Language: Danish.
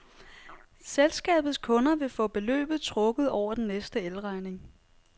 Selskabets kunder vil få beløbet trukket over den næste el-regning.